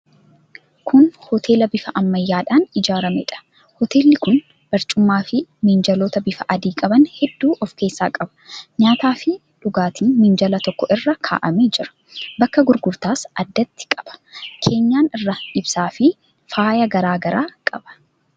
Kun hoteela bifa ammayyaadhaan ijaarameedha. Hoteelli kun barcumaafi minjaalota bifa adii qaban hedduu of keessaa qaba. Nyaataafi dhugaatiin minjaala tokko irra kaa'amee jira. Bakka gurgurtaas addatti qaba. Keenyan irraa ibsaafi faayaa garaa garaa qaba.